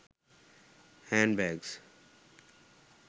hand bags